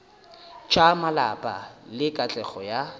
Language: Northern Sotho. tša malapa le katlego ya